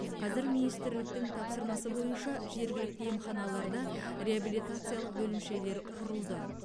қазір министрліктің тапсырмасы бойынша жергілікті емханаларда реабилитациялық бөлімшелер құрылды